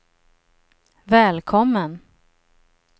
välkommen